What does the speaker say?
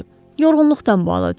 Yorğunluqdan belə düşüb.